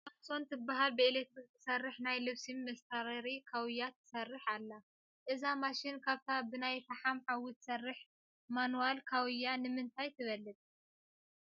THOMSON ትብሃል ብኤለክትሪክ ትሰርሕ ናይ ልብሲ መስታረሪ ካውያ ትርአ ኣላ፡፡ እዛ ማሽን ካብታ ብናይ ፈሓም ሓዊ ትሰርሕ ማንዋል ካውያ ብምንታይ ትበልፅ?